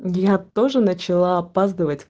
я тоже начала опаздывать